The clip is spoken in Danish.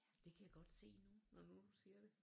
Det kan jeg godt se nu når nu du siger det